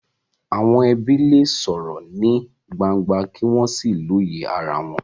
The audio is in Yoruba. Àwọn ẹbí lè sọ̀rọ̀ ní gbangba kí wọ́n sì lóye ara wọn.